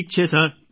ઠીક છે સર